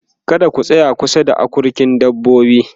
kada ku tsaya kusa da akurkin dabbobi